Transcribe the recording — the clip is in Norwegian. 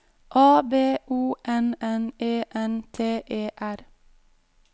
A B O N N E N T E R